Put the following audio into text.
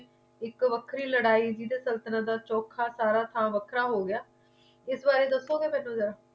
ਇਕ ਵੱਖਰੀ ਲੜਾਈ ਵੀ ਸੰਤਤਲਣ ਦਾ ਚੋਕ ਤਾਰਾ ਤਾ ਵੱਖਰਾ ਹੋ ਗਿਆ ਇਸ ਬਾਰੇ ਦਸੋ ਗਏ ਮੈਨੂੰ ਜਰਾ